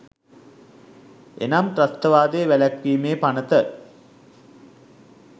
එනම් ත්‍රස්තවාදය වැළැක්වීමේ පනත